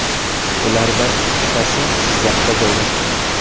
Ulardan ikkitasi Jizzaxda joylashgan.